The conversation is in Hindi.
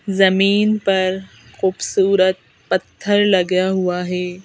जमीन पर खूबसूरत पत्थर लगा हुआ है।